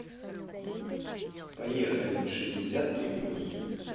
поехали шестьдесят три плюс